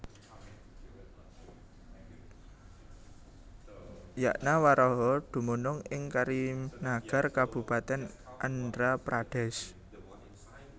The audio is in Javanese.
YagnaWaraha dumunung ing Karimnagar Kabupaten Andhra Pradesh